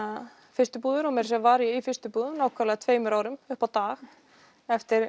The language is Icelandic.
fyrstu búðir og meira að segja var ég í fyrstu búðum tveimur árum upp á dag eftir